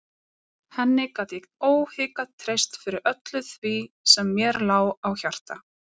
Henni gat ég óhikað treyst fyrir öllu því sem mér lá á hjarta.